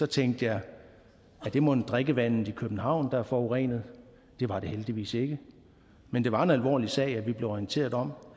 tænkte jeg er det mon drikkevandet i københavn der er forurenet det var det heldigvis ikke men det var en alvorlig sag vi blev orienteret om